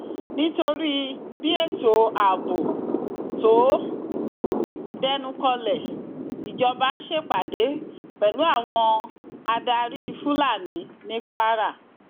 nítorí bí ètò ààbò tó dẹnukọlẹ ìjọba ṣèpàdé pẹlú àwọn adarí fúlàní ní kwara